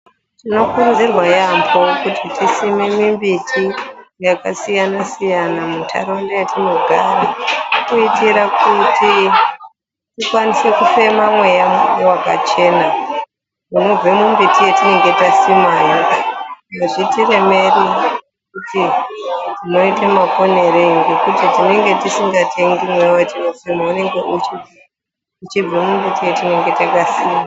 Tinokurudzira yaamho kuti tisime mimbiti yakasiyana siyana munharaunda yatinogara kuitira kuti tikwanise kufema mweya wakachena unobve mumbiti yatinenge tasimayo, azvitiremeri kuti tinoite maponerei ngekuti tinenge tisingatengi mweya watinofema unenge uchibve mumbiti yatinenge takasima.